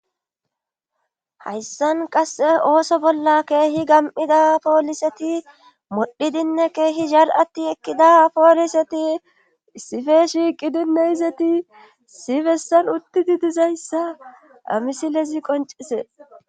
hayssan qasse ooso bolla keehi gam7ida pooliseti modhidinne keehi zal7atti ekkida pooliseti sife shiiqidinneizeti sifessan uttidi dizayssa amisilezi qoncise